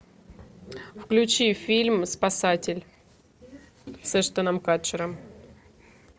включи фильм спасатель с эштоном катчером